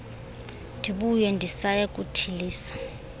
ndibuye ndisaya kuthulisa